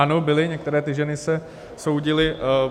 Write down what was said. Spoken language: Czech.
Ano, byly, některé ty ženy se soudily.